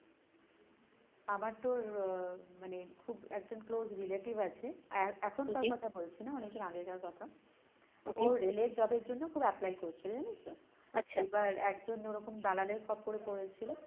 আমার তোর আহ মানে খুব একজন close relative আছে এ~এখনকার কথা বলেছি না অনেকদিন আগেকার কথা ওর rail এর job এর জন্য খুব apply করছিলো জানিস তো এবার একজন ওরকম দালালের খপ্পরে পড়েছিল,